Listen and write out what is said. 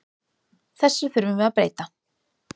Þessu þurfum við að breyta.